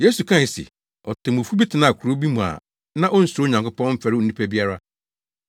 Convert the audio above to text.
Yesu kae se, “Otemmufo bi tenaa kurow bi mu a na onsuro Onyankopɔn, mfɛre onipa biara.